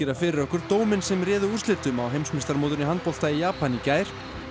fyrir okkur dóminn sem ráði úrslitum á heimsmeistaramótinu í handbolta í Japan í gær